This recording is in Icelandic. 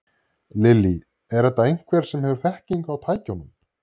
Lillý: Er þetta einhver sem hefur þekkingu á tækjunum?